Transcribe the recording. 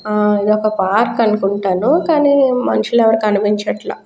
ఆ ఇది ఒక పార్క్ అనుకుంటాను కానీ మనుషుల్లు ఎవరు కనిపిచట్ల.